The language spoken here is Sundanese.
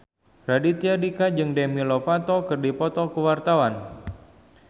Raditya Dika jeung Demi Lovato keur dipoto ku wartawan